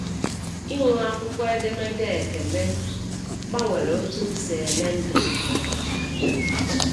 Inwe akwụkwọ edemede ekele gbanwere otú m si ele ndụ m kwa ụbọchị anya.